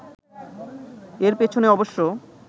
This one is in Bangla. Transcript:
এর পেছনে অবশ্য